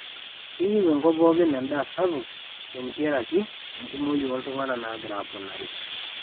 keyieu enkop pooki en'daa sapuk te ntiaraki enkumoi oo ltung'anak nagira aponari